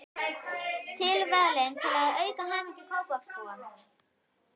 Tilvalinn til að auka hamingju Kópavogsbúa.